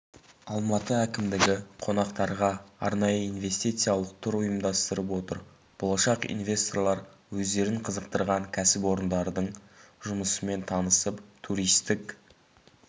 алматы әкімдігі қонақтарға арнайы инвестициялық тур ұйымдастырып отыр болашақ инвесторлар өздерін қызықтырған кәсіпорындардың жұмысымен танысып туристік